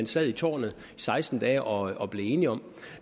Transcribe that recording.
sad i tårnet i seksten dage og og blev enige om